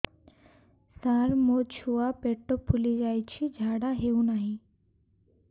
ସାର ମୋ ଛୁଆ ପେଟ ଫୁଲି ଯାଉଛି ଝାଡ଼ା ହେଉନାହିଁ